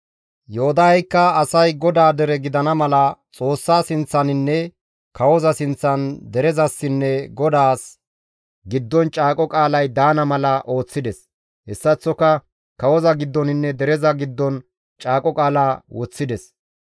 Yoodaheykka asay GODAA dere gidana mala Xoossa sinththaninne kawoza sinththan derezasinne GODAAS giddon caaqo qaalay daana mala ooththides. Hessaththoka kawozassinne derezas giddon caaqo qaala woththides.